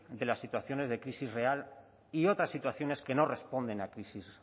de las situaciones de crisis real y otras situaciones que no responden a crisis